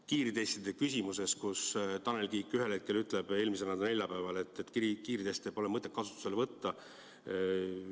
Kiirtestide küsimus, kus Tanel Kiik ühel hetkel ütles – eelmisel neljapäeval –, et kiirteste pole mõtet kasutusele võtta.